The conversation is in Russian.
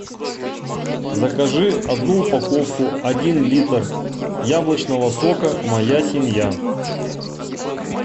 закажи одну упаковку один литр яблочного сока моя семья